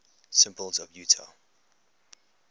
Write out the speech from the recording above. symbols of utah